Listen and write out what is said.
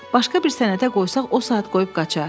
Başqa bir sənətə qoysaq o saat qoyub qaçar.